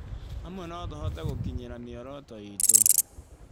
Hamwe no tũhote gũkinyĩra mĩoroto iitũ.